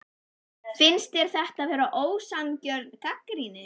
Finnst þér þetta vera ósanngjörn gagnrýni?